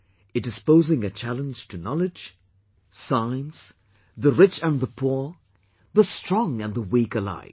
It is posing a challenge to Knowledge, science, the rich and the poor, the strong and the weak alike